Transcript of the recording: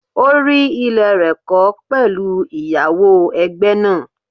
O rí ilé rẹ̀ kọ́ pẹ̀lú ìyáwó ẹgbẹ́ náà.